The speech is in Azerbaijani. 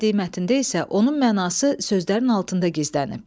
Bədii mətndə isə onun mənası sözlərin altında gizlənib.